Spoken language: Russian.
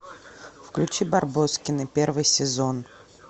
включи барбоскины первый сезон